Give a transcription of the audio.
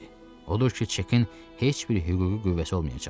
Odur ki, çekin heç bir hüquqi qüvvəsi olmayacaqdı.